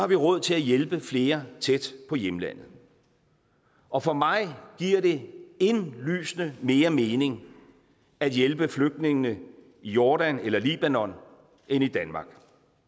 vi råd til at hjælpe flere tæt på hjemlandet og for mig giver det indlysende mere mening at hjælpe flygtningene i jordan eller libanon end i danmark